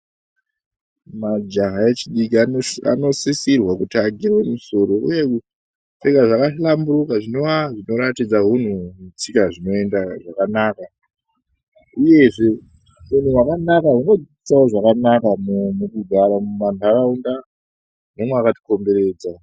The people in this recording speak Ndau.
Majaha echidiki anosisirwa kuti agerwe musoro uye kupfeka zvakahlamburika zvinova zvinoratidza hunhu netsika zvakanaka. Uyezve hunhu hwakanaka hunodzidzisa wo zvakanaka mukugara mumanharaunda nemwakatikomboredza.